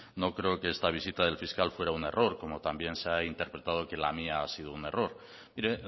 no creo que esta visita del fiscal fuera un error como también se ha interpretado que la mía ha sido un error mire